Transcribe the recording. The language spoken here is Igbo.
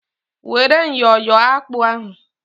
Were myọ yọọ akpụ ahụ!